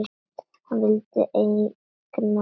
Hann vildi eignast börn.